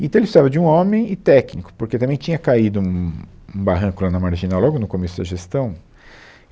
Então, ele precisava de um homem e técnico, porque também tinha caído um, um barranco lá na marginal logo no começo da gestão.